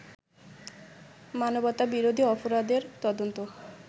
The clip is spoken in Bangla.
মানবতাবিরোধী অপরাধের তদন্ত